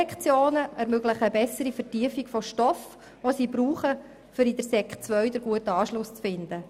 Sie ermöglichen auch eine bessere Vertiefung des Stoffes, den die Jugendlichen benötigen, um auf der Stufe Sek II den Anschluss zu finden.